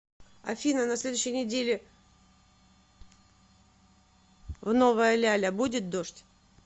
афина на следующей неделе в новая ляля будет дождь